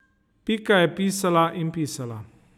Pika je pisala in pisala.